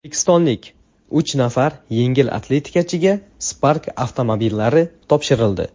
O‘zbekistonlik uch nafar yengil atletikachiga Spark avtomobillari topshirildi.